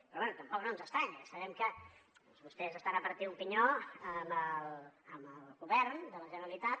però bé tampoc no ens estranya sabem que vostès estan a partir un pinyó amb el govern de la generalitat